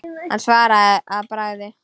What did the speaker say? Hann svaraði að bragði.